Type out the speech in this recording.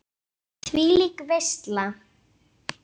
Þvílík veisla.